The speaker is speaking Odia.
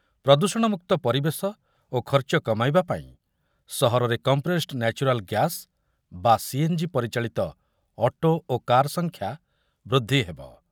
ପ୍ରଦୂଷଣମୁକ୍ତ ପରିବେଶ ଓ ଖର୍ଚ୍ଚ କମାଇବା ପାଇଁ ସହରରେ କମ୍ପ୍ରେସ୍‌ଡ୍ ନ୍ୟାଚୁରାଲ୍ ଗ୍ୟାସ୍ ବା ସିଏନ୍‌ଜି ପରିଚାଳିତ ଅଟୋ ଓ କାର୍ ସଂଖ୍ୟା ବୃଦ୍ଧି ହେବ।